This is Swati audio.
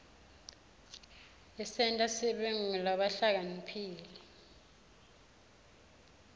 isenta sibe ngulabahlakaniphile